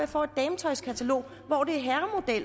får et dametøjskatalog